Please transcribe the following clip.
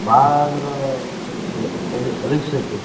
ಬಾಳ ಅಂದ್ರ risk ಐತ್ರಿ.